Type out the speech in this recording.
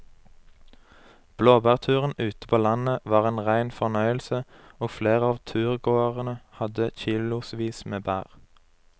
Blåbærturen ute på landet var en rein fornøyelse og flere av turgåerene hadde kilosvis med bær.